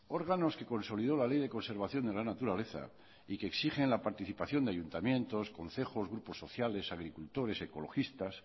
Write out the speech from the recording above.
órganos que consolidó la ley de conservación de la naturaleza y que exigen la participación de ayuntamientos concejos grupos sociales agricultores ecologistas